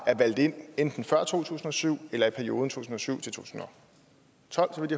er valgt ind enten før to tusind og syv eller i perioden to tusind og syv til tolv så vidt